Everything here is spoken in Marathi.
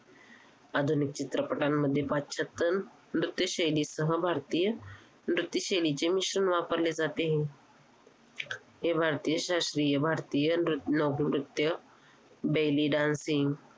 आधुनिक चित्रपटांमध्ये पाश्चात्य नृत्य शैलीसह भारतीय नृत्य शैलीचे मिश्रण वापरले जाते, हे भारतीय शास्त्रीय भारतीय नृत्य लोक नृत्य belly dancing